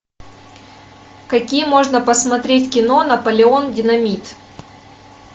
какие можно посмотреть кино наполеон динамит